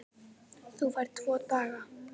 Þú færð tvo daga.